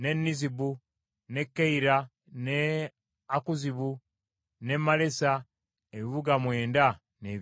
n’e Keira, n’e Akuzibu, n’e Malesa, ebibuga mwenda n’ebyalo byabyo.